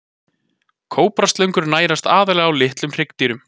Kóbraslöngur nærast aðallega á litlum hryggdýrum.